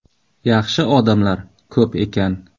Yaxshi odamlar ko‘p ekan.